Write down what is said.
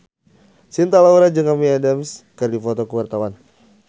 Cinta Laura jeung Amy Adams keur dipoto ku wartawan